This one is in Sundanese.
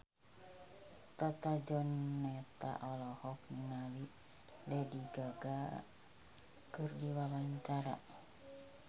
Tata Janeta olohok ningali Lady Gaga keur diwawancara